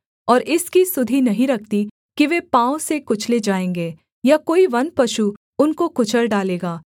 और इसकी सुधि नहीं रखती कि वे पाँव से कुचले जाएँगे या कोई वन पशु उनको कुचल डालेगा